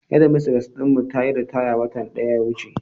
Shedmistres din mu tayi ritaya watan daya wuce.